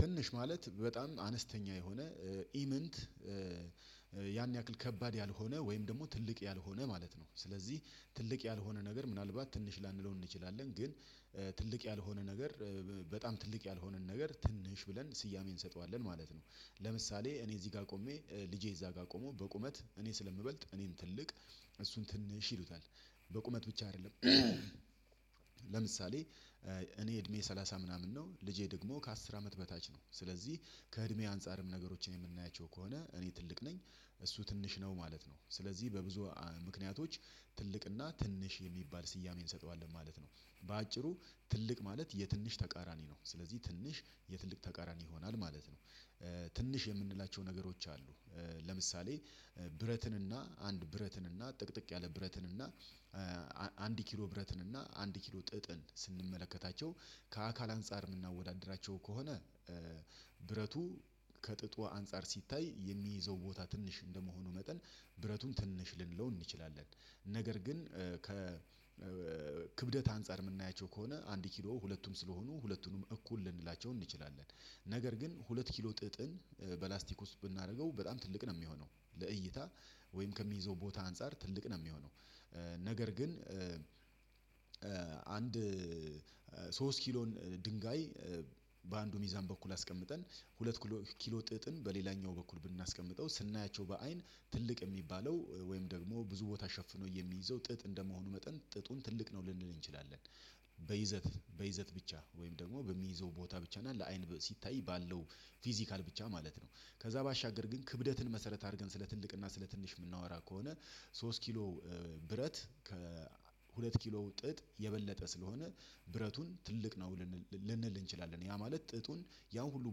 ትንሽ ማለት በጣም አነስተኛ የሆነ ኢምንት ያን ያክል ከባድ ያልሆነ ወይም ደግሞ ትልቅ ያልሆነ ማለት ነው። ስለዚህ ትልቅ ያልሆነ ነገር ምናልባት ትንሽ ላንለው እንችላለን ግን ትልቅ ያልሆነ ነገር በጣም ትልቅ ያልሆነን ነገር ትንሽ ብለን ስያሜን እንሰጠዋለን ማለት ነው። ለምሳሌ እኔ እዚህ ጋር ቆሜ ልጄ እዛ ጋር ቆሞ በቁመት እኔ ስለምበልጥ እኔም ትልቅ እሱን ትንሽ ይሉታል በቁመት ብቻ አይደለም። ለምሳሌ እኔ እድሜ ሰላሳ ምናምን ነው ልጄ ደግሞ ከአስር አመት በታች ነው። ስለዚህ ከእድሜ አንፃርም ነገሮችን የምናያቸው ከሆነ እኔ ትልቅ ነኝ እሱ ትንሽ ነው ማለት ነው። ስለዚህ በብዙ ምክንያቶች ትልቅና ትንሽ የሚባል ስያሜ እንሰጠዋለን ማለት ነው። በአጭሩ ትልቅ ማለት የትንሽ ተቃራኒ ነው ስለዚህ ትንሽ የትንሽ ተቃራኒ ይሆናል ማለት ነው። ትንሽ የምንላቸው ነገሮች አሉ። ለምሳሌ ብረትን እና አንድ ብረትን እና ጥቅጥቅ ያለ ብረትን እና አንድ ኪሎ ብረትን እና አንድ ኪሎ ጥጥን ስንመለከታቸው ከአካል አንፃር የምናወዳድራቸው ከሆነ። ከጥጥ አንፃር ሲታይ የሚይዘው ቦታ ትንሽ እንደመሆኑ መጠን ብረቱን ትንሽ ልንለው እንችላለን። ነገር ግን ከ ክብደት አንፃር የምናያቸው ከሆነ አንድ ኪሎ ሁለቱም ስለሆኑ ሁለቱንም እኩል ልንላቸው እንችላለን። ነገር ግን ሁለት ኪሎ ጥጥን በላስቲክ ውስጥ ብናደርገው በጣም ትልቅ ነው የሚሆነው ለእይታ ወይም ከሚይዘው ቦታ አንፃር ትልቅ ነው የሚሆነው። ነገር ግን አንድ ሶስት ኪሎን ድንጋይ በአንዱ ሚዛን በኩል አስቀምጠን ሁለት ኪሎ ጥጥን በሌላኛው በኩል ብናስቀምጠው ስናያቸው በአይን ትልቅ የሚባለው ወይም ደግሞ ብዙ ቦታ ሸፍኖ የሚይዘው ጥጥ እንደመሆኑ መጠን ጥጡን ትልቅ ነው ልንል እንችላለን። በይዘት በይዘት ብቻ ወይም ደግሞ በሚይዘው ቦታ ብቻ እና ለአይን ሲታይ ባለው ፊዚካል ብቻ ማለት ነው። ከዛ ባሻገር ግን ክብደትን መሰረት አድርገን ስለ ትልቅና ስለ ትንሽ የምናወራ ከሆነ። ሶስት ኪሎ ብረት ከሁለት ኪሎ ጥጥ የበለጠ ስለሆነ ብረቱን ትልቅ ነው። ልንል እንችላለን ያ ማለት ጥጡን ያው ሁሉ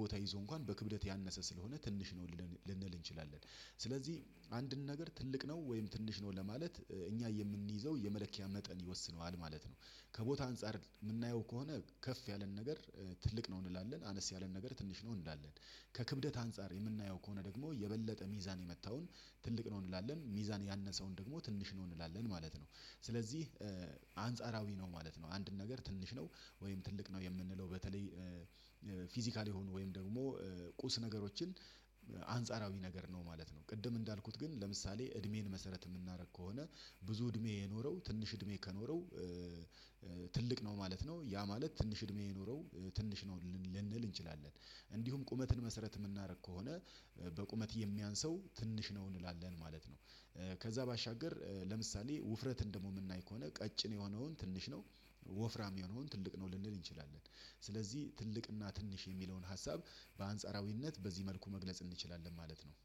ቦታ ይዞ እንኳን በክብደት ያነሰ ስለሆነ ትንሽ ነው ልንል እንችላለን። ስለዚህ አንድን ነገር ትልቅ ነው ወይም ትንሽ ነው ለማለት እኛ የምንይዘው የመለኪያ መጠን ይወስነዋል ማለት ነው። ከቦታ አንፃር የምናየው ከሆነ ከፍ ያለን ነገር ትልቅ ነው እንላለን አነስ ያለን ነገር ትንሽ ነው እንላለን። ከክብደት አንፃር የምናየው ከሆነ ደግሞ የበለጠ ሚዛን የመታውን ትልቅ ነው እንላለን ሚዛን ያነሰውን ደግሞ ትንሽ ነው እንላለን ማለት ነው። ስለዚህ አንጻራዊ ነው ማለት ነው። አንድን ነገር ትንሽ ነው ወይም ትልቅ ነው የምንለው በተለይ ፊዚካል የሆኑ ወይም ደግሞ ቁስ ነገሮችን አንጻራዊ ነገር ነው ማለት ነው። ቅድም እንዳልኩት ግን ለምሳሌ እድሜን መሰረት የምናደርግ ከሆነ ብዙ እድሜ የኖረው ትንሽ እድሜ ከኖረው ትልቅ ነው ማለት ነው። ያ ማለት ትንሽ እድሜ የኖረው ትንሽ ነው ልንል እንችላለን። እንዲሁም ቁመትን መሰረት የምናደርግ ከሆነ በቁመት የሚያንስው ትንሽ ነው እንላለን ማለት ነው። ከዛ ባሻገር ለምሳሌ ውፍረትን ደሞ ምናይ ከሆነ ቀጭን የሆነውን ትንሽ ነው። ወፍራም የሆነውን ትልቅ ነው ልንል እንችላለን። ስለዚህ ትልቅና ትንሽ የሚለውን ሀሳብ በአንጻራዊነት በዚህ መልኩ መግለጽ እንችላለን ማለት ነው